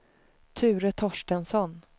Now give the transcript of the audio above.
Ture Torstensson